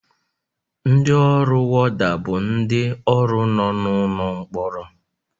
Ndị ọrụ worda bụ ndị ọrụ nọ n'ụlọ mkpọrọ